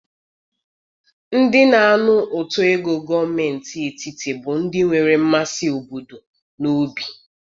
Ndị na-anụ ụtọ ego gọọmentị etiti bụ ndị nwere mmasị obodo n'obi.